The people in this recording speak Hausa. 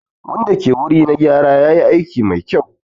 Wanda ke wuri na gyara yayi aiki mai kyau.